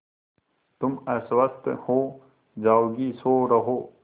तुम अस्वस्थ हो जाओगी सो रहो